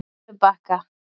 Unubakka